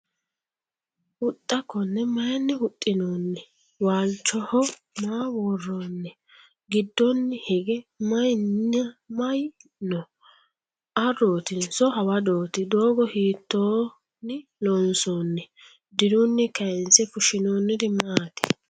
Huxxa konne mayiinni huxinoonni? Waalichoho maa woroonni? gidoonni hige mayiinna mayi noo? Aaroottinso ? Hawadootti? Doogo hiittoonni loonsoonni? Diruunni kaayinse fushshinnoonniri maatti?